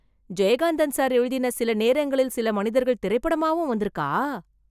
Jayakanthan sir எழுதின சில நேரங்களில் சில மனிதர்கள் திரைப்படமாவும் வந்துருக்கா?